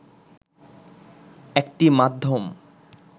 একটি মাধ্যম